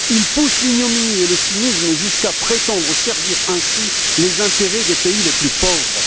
Ils poussent l'ignominie et le cynisme jusqu'à prétendre servir ainsi les intérêts des pays les plus pauvres.